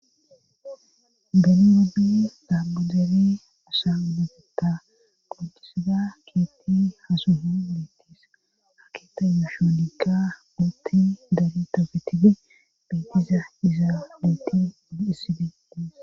beni rodi dambajeri usan bugutta qoncisada kietti hasuhu miittis akita mashoonikka utti dari tafetibe beitiza izaa bitti hissibees